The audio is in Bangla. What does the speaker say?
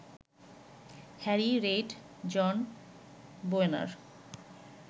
Harry Reid, John Boehner